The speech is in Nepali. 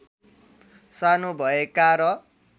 सानो भएका र